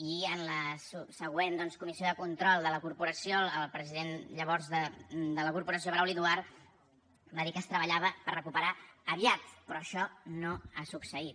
i en la següent doncs comissió de control de la corporació el president llavors de la corporació brauli duart va dir que es treballava per recuperar aviat però això no ha succeït